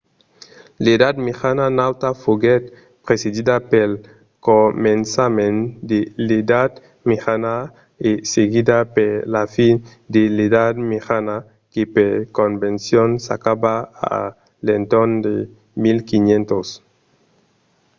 l'edat mejana nauta foguèt precedida pel començament de l'edat mejana e seguida per la fin de l'edat mejana que per convencion s'acaba a l'entorn de 1500